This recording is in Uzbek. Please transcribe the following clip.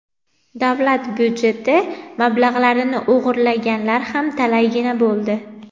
davlat byudjeti mablag‘larini o‘g‘rilaganlar ham talaygina bo‘ldi.